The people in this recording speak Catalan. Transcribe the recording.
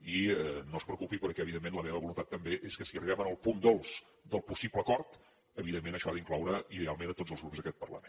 i no es preocupi perquè evidentment la meva voluntat també és que si arribem al punt dolç del possible acord evidentment això ha d’incloure ideal ment a tots els grups d’aquest parlament